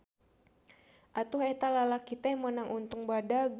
Atuh eta lalaki teh meunang untung badag.